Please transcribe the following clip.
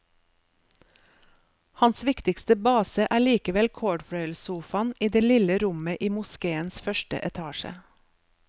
Hans viktigste base er likevel cordfløyelssofaen i det lille rommet i moskéens første etasje.